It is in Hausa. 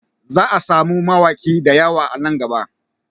Za a samu mawaki da yawa nan gaba